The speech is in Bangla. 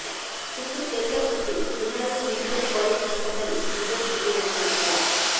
দুপুর দেড়টার দিকে এনআরএস মেডিক্যাল কলেজ হাসপাতালে দিবস উপলক্ষে ডা